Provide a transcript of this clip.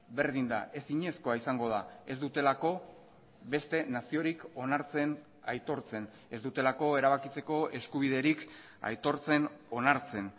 berdin da ezinezkoa izango da ez dutelako beste naziorik onartzen aitortzen ez dutelako erabakitzeko eskubiderik aitortzen onartzen